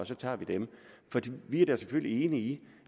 så tager vi dem vi er da selvfølgelig enige i